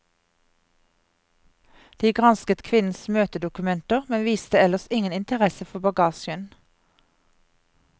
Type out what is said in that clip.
De gransket kvinnens møtedokumenter, men viste ellers ingen interesse for bagasjen.